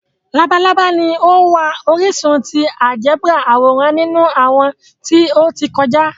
Labalaba ni o wa orisun ti áljẹbrà aworan ninu awọn ti o ti kọja.